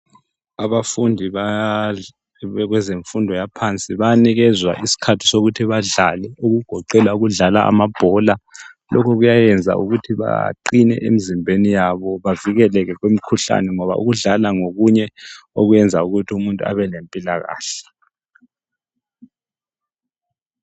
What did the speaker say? Abafundi bakwezemfundo yaphansi bayanikezwa isikhathi sokuthi badlale okugoqela ukudlala amabhola. Lokhu kuyayenza ukuthi baqine emizimbeni yabo bavikeleke kumikhuhlane ngoba ukudlala ngokunye okwenza ukuthi umuntu abelempilakahle